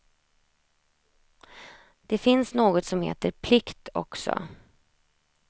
Det finns något som heter plikt också.